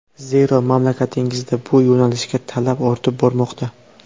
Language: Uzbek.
Zero, mamlakatingizda bu yo‘nalishga talab ortib bormoqda.